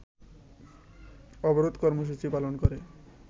অবরোধ কর্মসুচি পালন করে